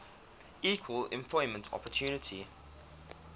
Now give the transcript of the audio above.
equal employment opportunity